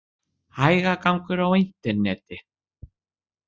Hægagangur á interneti